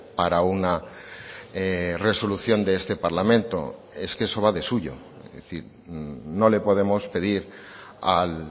para una resolución de este parlamento es que eso va de suyo es decir no le podemos pedir al